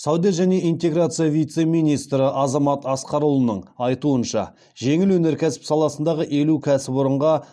сауда және интеграция вице министрі азамат асқарұлының айтуынша жеңіл өнеркәсіп саласындағы елу кәсіпорынға